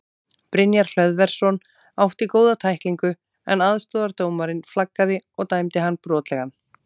Brynjar Hlöðversson átti góða tæklingu en aðstoðardómarinn flaggaði og dæmdi hann brotlegan.